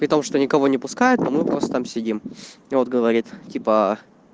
потому что никого не пускает а мы просто там сидим и вот говорит типа